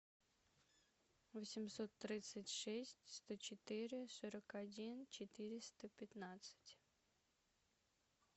восемьсот тридцать шесть сто четыре сорок один четыреста пятнадцать